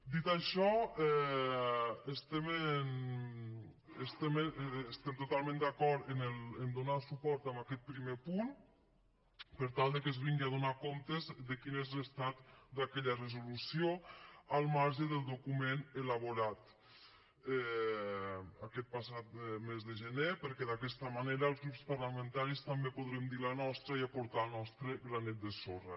dit això estem totalment d’acord en donar suport a aquest primer punt per tal que es vingui a donar comptes de quin és l’estat d’aquella resolució al marge del document elaborat aquest passat mes de gener perquè d’aquesta manera els grups parlamentaris també podrem dir la nostra i aportar el nostre granet de sorra